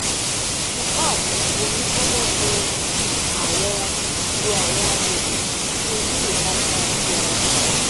fi pad omi gbona lo awọn lo awọn agbegbe ti o ni ipalara ti ara